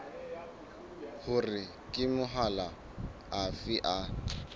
hore ke mahola afe a